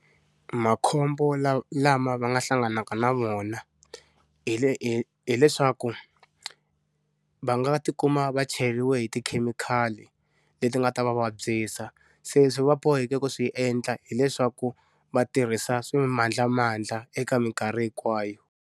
Makhombo lawa lama va nga hlanganaka na wona hile hileswaku, va nga ti kuma va cheriwe hi tikhemikhali leti ti nga ta va vabyisa, se va boheka ku swi endla hileswaku va tirhisa swimandlamandla eka minkarhi hinkwayo.